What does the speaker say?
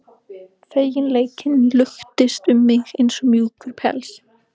Feginleikinn luktist um mig eins og mjúkur pels.